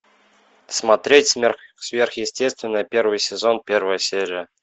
смотреть сверхъестественное первый сезон первая серия